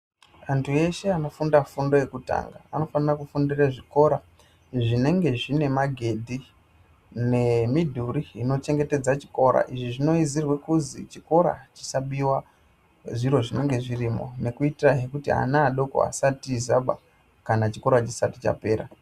Antu eshe anofunda fundo yekutanga anofana kufundire zvikora zvinenge zvine magedhi nemidhuri inochengetedza chikora izvi zvinoizirwe kuzi chikora chisabiwa zviro zvinenge zvirimo nekuitira hee kuti ana adoko asatizaba kana chikora chisati chapera.